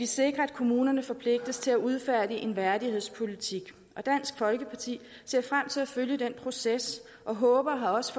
sikrer at kommunerne forpligtes til at udfærdige en værdighedspolitik og dansk folkeparti ser frem til at følge den proces og håber og har også